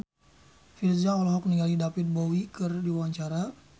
Virzha olohok ningali David Bowie keur diwawancara